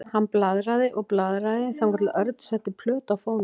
Hann blaðraði og blaðraði þangað til Örn setti plötu á fóninn.